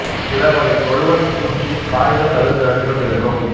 சில வகைத் தொழுவன் பூச்சி காய்ந்த சருகு நிறத்திலும் இருக்கும்